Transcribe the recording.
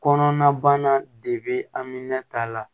Kɔnɔna bana de be aminɛn ta la